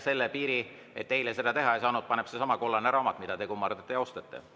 Selle piiri, et eile seda teha ei saanud, paneb seesama kollane raamat, mida te kummardate ja austate.